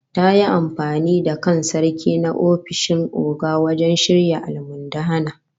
Ta yi amfani da kan Sarki na ofishin Oga wajen shirya almundahana